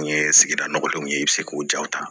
N'u ye sigida nɔgɔdenw ye i bɛ se k'o jaw ta